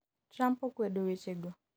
Trump okwedo weche go